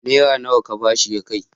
Naira nawa ka ba shi ya kai?